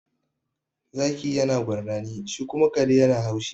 Zaki yana gurnani, shi kuma kare yana haushi.